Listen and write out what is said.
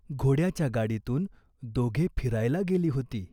घोड्याच्या गाडीतून दोघे फिरायला गेली होती.